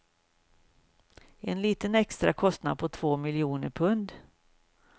En liten extra kostnad på två miljoner pund.